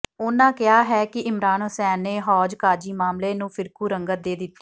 ਉਨ੍ਹਾਂ ਕਿਹਾ ਹੈ ਕਿ ਇਮਰਾਨ ਹੁਸੈਨ ਨੇ ਹੌਜ਼ਕਾਜ਼ੀ ਮਾਮਲੇ ਨੂੰ ਫਿਰਕੂ ਰੰਗਤ ਦੇ ਦਿੱਤੀ